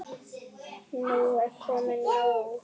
Nú er komið nóg!